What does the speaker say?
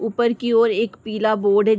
ऊपर की ओर एक पीला बोर्ड हैं।